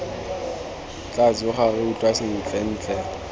tla tsoga re utlwa sentlentle